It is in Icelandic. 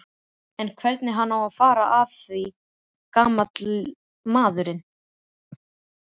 En hvernig á hann að fara að því gamall maðurinn?